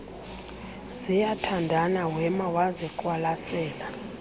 ziyathandana wema waziqwalasela